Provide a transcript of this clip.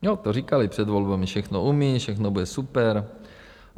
- Jo, to říkali před volbami, všechno umí, všechno bude super.